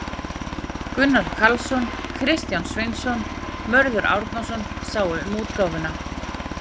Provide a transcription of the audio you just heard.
Gunnar Karlsson, Kristján Sveinsson, Mörður Árnason sáu um útgáfuna.